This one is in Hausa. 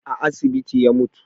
A asibiti ya mutu